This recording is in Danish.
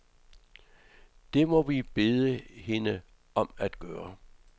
Det må vi bede hende om at gøre.